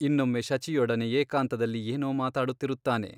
ಇನ್ನೊಮ್ಮೆ ಶಚಿಯೊಡನೆ ಏಕಾಂತದಲ್ಲಿ ಏನೋ ಮಾತಾಡುತ್ತಿರುತ್ತಾನೆ.